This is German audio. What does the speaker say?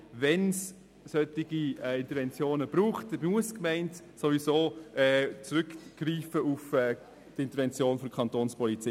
Wenn es solche Interventionen braucht, muss die Gemeinde sowieso auf die Intervention der Kapo Bern zurückgreifen.